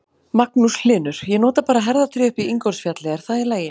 Magnús Hlynur: Ég nota bara herðatré upp í Ingólfsfjalli, er það í lagi?